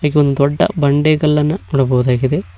ಹಾಗೆ ಒಂದು ದೊಡ್ಡ ಬಂಡೆಗಲನ್ನ ನೋಡಬಹುದಾಗಿದೆ.